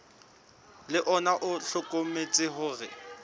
le ona o hlokometse hore